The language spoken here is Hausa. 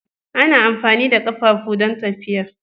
Ana amfani da ƙafafu don tafiya.